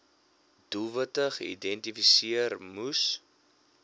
doelwitte geïdentifiseer moes